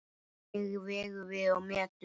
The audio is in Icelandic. Hvernig vegum við og metum?